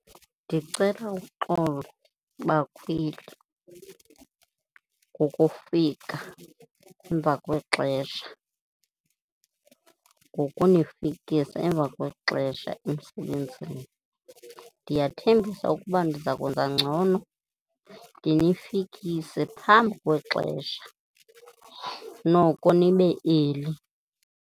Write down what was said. Ndicela uxolo bakhweli ngokufika emva kwexesha, ngokunifikisa emva kwexesha emsebenzini. Ndiyathembisa ukuba ndiza kwenza ngcono ndinifikise phambi kwexesha, noko nibe early.